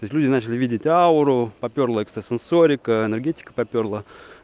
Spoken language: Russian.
то есть люди начали видеть ауру попёрла экстрасенсорика энергетика попёрла